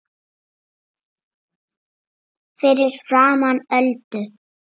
Fyrir framan Öldu.